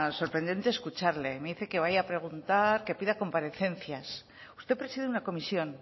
es sorprendente escucharle me dice que vaya a preguntar que pida comparecencias usted preside una comisión